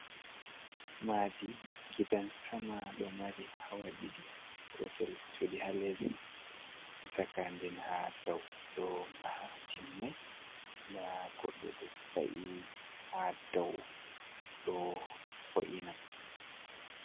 maadi gidan sama ɗo mari hawaɗiɗi gotel cuɗi haa les haa caka nden haa dow ɗo maha timmai nda goɗɗo ɗo wa’i haa daw ɗo wo’ina